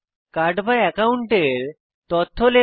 card বা অ্যাকাউন্টের তথ্য লেখা